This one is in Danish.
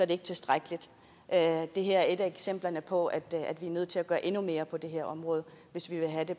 det ikke tilstrækkeligt det her er et af eksemplerne på at vi er nødt til at gøre endnu mere på det her område hvis vi vil have det